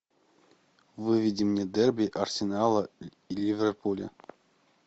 выведи мне дерби арсенала и ливерпуля